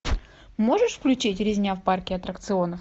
можешь включить резня в парке атракционов